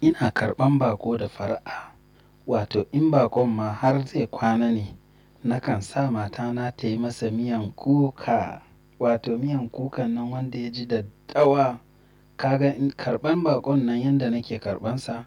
Ina karɓan baƙo da fara'a. Wato in baƙon ma har zai kwana ne, nakan sa matana tayi masa miyan kuka, wato miyan kukan nan wanda ya ji daddawa. Kaga in karɓan baƙon nan yanda nake karɓansa,